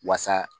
Wasa